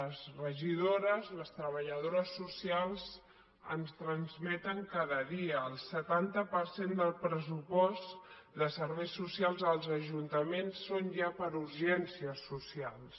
les regidores les treballadores socials ens ho transmeten cada dia el setanta per cent del pressupost de serveis socials als ajuntaments són ja per a urgències socials